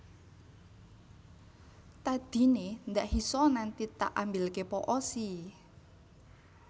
Tadi ne ndak hisa nanti tak ambilke po o sii